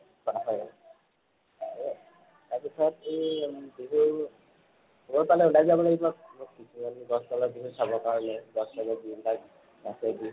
তাৰ পিছত এই উম বিহুৰ চাব কাৰণে বিনদাচ বিহু